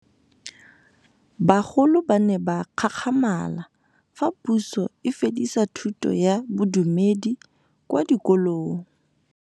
Bagolo ba ne ba gakgamala fa Pusô e fedisa thutô ya Bodumedi kwa dikolong.